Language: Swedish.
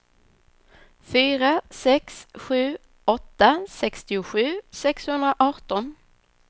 fyra sex sju åtta sextiosju sexhundraarton